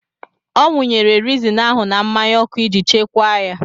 Ọ wụnyere reezin ahụ na mmanya ọkụ iji chekwaa ya.